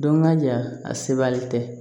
Don ka ja a sewalen tɛ